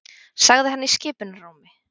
sagði hann í skipunarrómi.